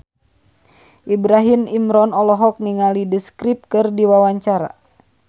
Ibrahim Imran olohok ningali The Script keur diwawancara